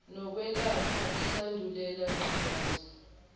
nokwelapha isandulela ngculaza